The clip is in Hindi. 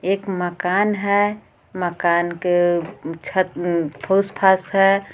एक मकान हे मकान के छत फुस फास हे.